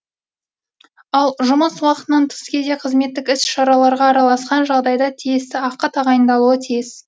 ал жұмыс уақытынан тыс кезде қызметтік іс шараларға араласқан жағдайда тиісті ақы тағайындалуы тиіс